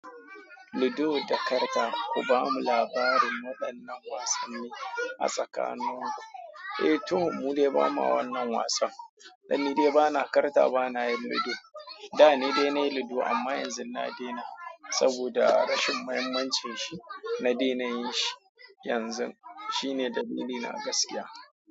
Ludo da karta, ku bamu labarin waɗannan wasanni a tsakanin ku. Eh, to mu dai ba ma wannan wasan. Eh ni dai bana karta bana yin ludo da ne dai na yi ludo, amma yanzu na daina, saboda rashin muhimmanci shi. Na daina yin shi yanzu. Shi ne dalili na gaskiya.